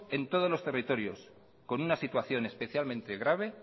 en todos los territorios con una situación especialmente grave